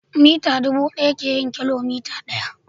mita dubu daya ke yin kilomita daya.